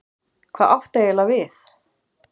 Hvað áttu eiginlega við?